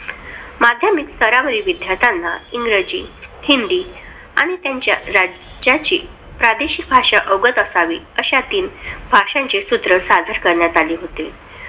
माध्यमिक स्तरावरील विद्यार्थ्याला इंग्रजी, हिंदी आणि त्याच्या राज्याची प्रादेशिक भाषा अवगत असावी, असे तीन भाषांचे सूत्र सादर करण्यात आले होते.